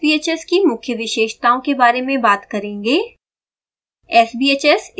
आगे हम sbhs की मुख्य विशेषताओं के बारे में बात करेंगे